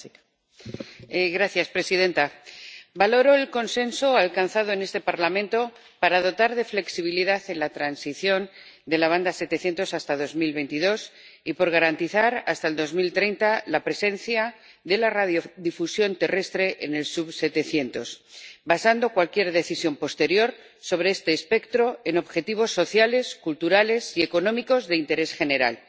Señora presidenta. Valoro el consenso alcanzado en este Parlamento para dotar de flexibilidad a la transición de la banda 700 hasta 2022 y garantizar, hasta 2030, la presencia de la radiodifusión terrestre en el sub-700, y para basar cualquier decisión posterior sobre este espectro en objetivos sociales, culturales y económicos de interés general,